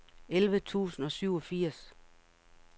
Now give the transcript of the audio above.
elleve tusind og syvogfirs